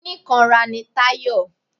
Onikanra ni Tayọ.